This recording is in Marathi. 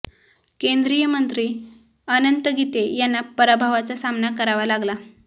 केंद्रीय मंत्री अनंत गीते यांना पराभवाचा सामना करावा लागला